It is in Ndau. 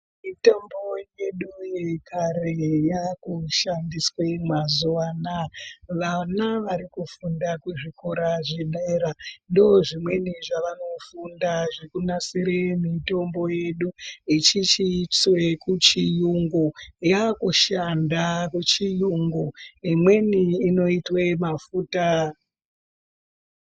Mitombo yedu yekare yakushandiswe mazuwa anaya vana vari kufunda kuzvikora zvedera ndozvimweni zvavanofunda zvekunasire mitombo yedu echichiiswe kuchiyungu yakushanda muchiyungu imweni inoitwe mafuta.